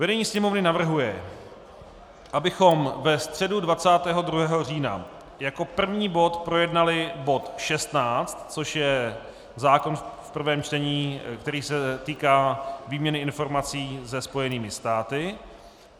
Vedení Sněmovny navrhuje, abychom ve středu 22. října jako první bod projednali bod 16, což je zákon v prvém čtení, který se týká výměny informací se Spojenými státy.